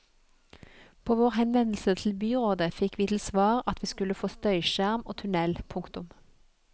På vår henvendelse til byrådet fikk vi til svar at vi skulle få støyskjerm og tunnel. punktum